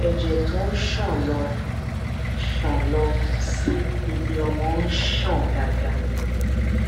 ẹjẹ tó ń ṣàn lọ ń ṣàn lọ sí ibiọmọ ń ṣàn dáadáa